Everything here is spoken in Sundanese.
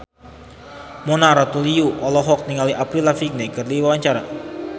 Mona Ratuliu olohok ningali Avril Lavigne keur diwawancara